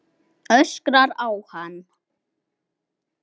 Öskrar á hann.